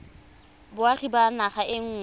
boagi ba naga e nngwe